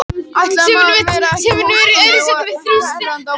Ætli maður verði ekki hóstandi og hnerrandi á morgun.